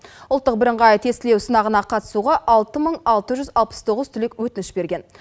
ұлттық біріңғай тестілеу сынағына қатысуға алты мың алты жүз алпыс тоғыз түлек өтініш берген